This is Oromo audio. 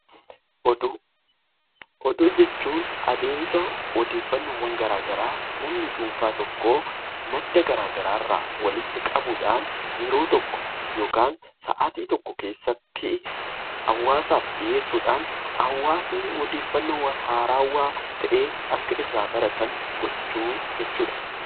Oduu Oduu jechuun adeemsa odeeffannoo garaagaraa namni dhuunfaan tokkoo madda garaagaraa irraa walitti qabuudhaan yeroo tokko yookaan Saatii tokko keessatti hawaasaaf dhiheessuudhaan, hawaasni odeeffannoo haarawaa ta'ee, akka irraa baratan gochuu jechuudha.